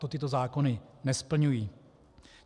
To tyto zákony nesplňují.